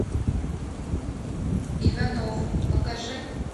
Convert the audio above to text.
иванов покажи